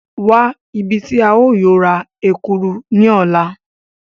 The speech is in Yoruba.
Wa ibi ti a yóò ra Ekuru ni ọla!